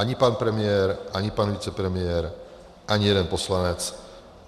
Ani pan premiér, ani pan vicepremiér, ani jeden poslanec.